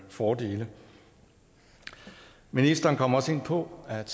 fordele ministeren kom også ind på at